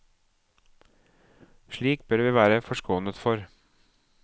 Slike bør vi være forskånet for.